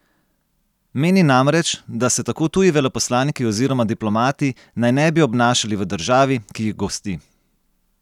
Meni namreč, da se tako tuji veleposlaniki oziroma diplomati naj ne bi obnašali v državi, ki jih gosti.